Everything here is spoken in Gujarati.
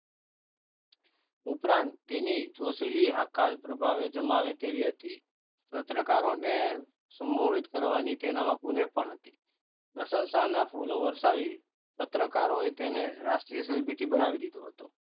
ઉપરાંત તેની જોશીલી હકાલ પ્રભાવે જમાવે તેવી હતી પત્રકારોને સમુહિક કરવાની તેનામાં પુને પણ હતી પ્રસંસાના ફૂલો વરસાવી તેને પત્રકાર હોય તેને રાષ્ટ્રીય સેલિબ્રિટી